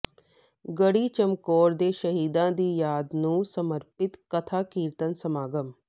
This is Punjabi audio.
ਗੜ੍ਹੀ ਚਮਕੌਰ ਦੇ ਸ਼ਹੀਦਾਂ ਦੀ ਯਾਦ ਨੂੰ ਸਮਰਪਿਤ ਕਥਾ ਕੀਰਤਨ ਸਮਾਗਮ